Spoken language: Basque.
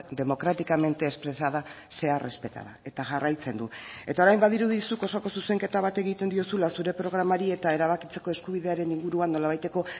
democráticamente expresada sea respetada eta jarraitzen du eta orain badirudi zuk osoko zuzenketa bat egiten diozula zure programari eta erabakitzeko eskubidearen inguruan nolabaiteko